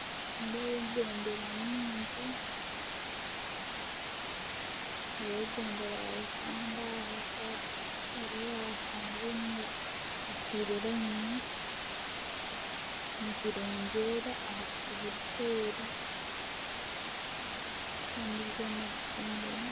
Nindeeba ebendera nyingi. Hariho ebendera ya Uganda, hariho eza hariho eya Tanzania ziteire rayini nizirengyera aha buti burikwera. Kandi zoona ziri omu rayini.